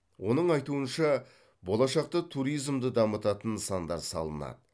оның айтуынша болашақта туризмды дамытатын нысандар салынады